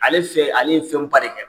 Ale fɛ ale ye fɛnba de kɛ.